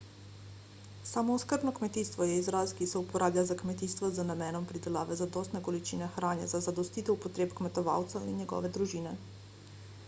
samooskrbno kmetijstvo je izraz ki se uporablja za kmetijstvo z namenom pridelave zadostne količine hrane za zadostitev potreb kmetovalca in njegove družine